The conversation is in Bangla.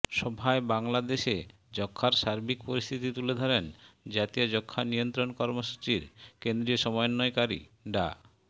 সভায় বাংলাদেশে যক্ষ্মার সার্বিক পরিস্থিতি তুলে ধরেন জাতীয় যক্ষ্মা নিয়ন্ত্রণ কর্মসূচির কেন্দ্রীয় সমন্বয়কারী ডা